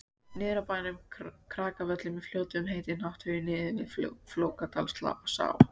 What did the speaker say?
Niður af bænum Krakavöllum í Fljótum heitir Nátthagi niður við Flókadalsá.